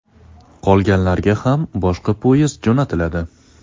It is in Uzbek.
Qolganlarga ham boshqa poyezd jo‘natiladi.